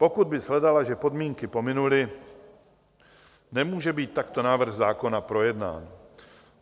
Pokud by shledala, že podmínky pominuly, nemůže být takto návrh zákona projednán.